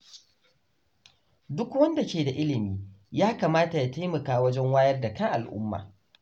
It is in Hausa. Duk wanda ke da ilimi ya kamata ya taimaka wajen wayar da kan al’umma.